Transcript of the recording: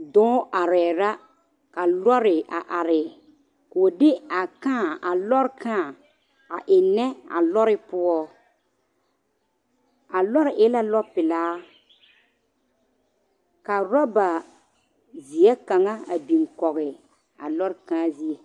Dɔɔ arɛɛ la ka lɔre a are k'o de a kãã a lɔre kãã a ennɛ a lɔre poɔ a lɔre e la lɔpelaa ka rɔba zeɛ kaŋa a biŋ kɔɡe a lɔre kãã zie.